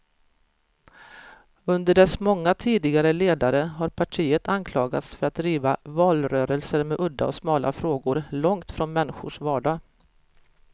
Under dess många tidigare ledare har partiet anklagats för att driva valrörelser med udda och smala frågor, långt från människors vardag.